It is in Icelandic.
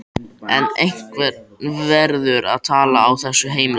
En einhver verður að tala á þessu heimili.